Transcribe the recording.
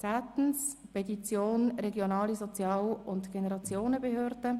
Zehntens: Petition der regionalen Sozial- und Generationenbehörde: